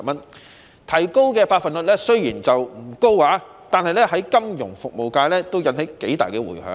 雖然提高的百分率不高，但在金融服務界已引起頗大的迴響。